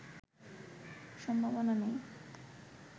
সম্ভাবনাই নেই